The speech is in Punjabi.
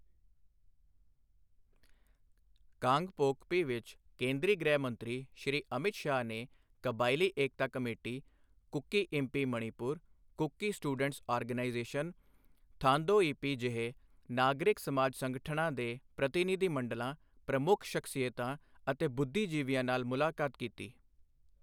ਕਾਂਗਪੋਕਪੀ ਵਿੱਚ, ਕੇਂਦਰੀ ਗ੍ਰਹਿ ਮੰਤਰੀ ਸ਼੍ਰੀ ਅਮਿਤ ਸ਼ਾਹ ਨੇ ਕਬਾਇਲੀ ਏਕਤਾ committee, Kuki Inpi Manipur, Kuki students organisation, Thadou Inpi ਜਿਹੇ ਨਾਗਰਿਕ ਸਮਾਜ ਸੰਗਠਨਾਂ ਦੇ ਪ੍ਰਤੀਨਿਧੀ ਮੰਡਲਾਂ, ਪ੍ਰਮੁੱਖ ਸ਼ਖਸੀਅਤਾਂ ਅਤੇ ਬੁੱਧੀਜੀਵੀਆਂ ਨਾਲ ਮੁਲਾਕਾਤ ਕੀਤੀ।